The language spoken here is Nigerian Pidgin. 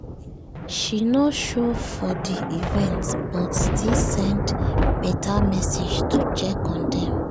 she no show for the event but still send better message to check on dem